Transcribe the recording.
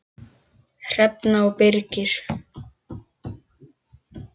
Hrefna og Birkir.